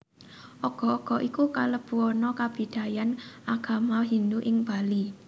Ogoh ogoh iku kalebu ana kabidayan Agama Hindu Ing Bali